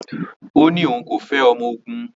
Ó ní òun kò fẹ́ ọmọ ogun